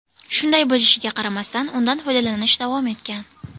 Shunday bo‘lishiga qaramasdan, undan foydalanish davom etgan.